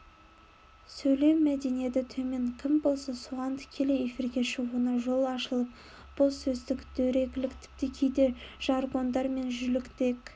сөйлеу мәдениеті төмен кім болса соған тікелей эфирге шығуына жол ашылып боссөздік дөрекілік тіпті кейде жаргондар мен жүліктер